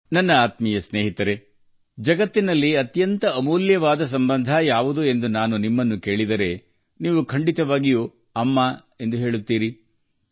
ನನ್ನ ಆತ್ಮೀಯ ಸ್ನೇಹಿತರೆ ಜಗತ್ತಿನಲ್ಲಿ ಅತ್ಯಂತ ಅಮೂಲ್ಯವಾದ ಸಂಬಂಧ ಯಾವುದು ಎಂದು ನಾನು ನಿಮ್ಮನ್ನು ಕೇಳಿದರೆ ನೀವು ಖಂಡಿತವಾಗಿಯೂ ಹೇಳುವಿರಿ - "ಮಾತೆ" ತಾಯಿ